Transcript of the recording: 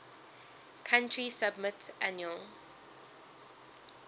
country submit annual